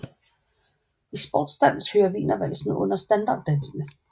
I sportsdans hører wienervalsen under standarddansene